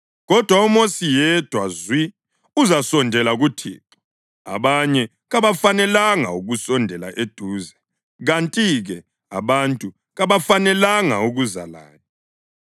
kodwa uMosi yedwa zwi uzasondela kuThixo; abanye kabafanelanga ukusondela eduze. Kanti-ke abantu kabafanelanga ukuza laye.”